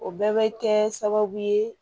O bɛɛ bɛ kɛ sababu ye